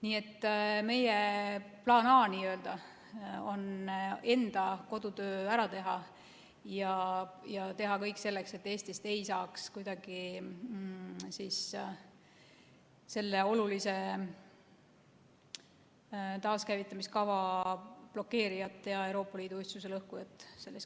Nii et meie plaan A on enda kodutöö ära teha ja teha kõik selleks, et Eestist ei saaks kuidagi selle olulise taaskäivitamiskava blokeerijat ja Euroopa Liidu ühtsuse lõhkujat.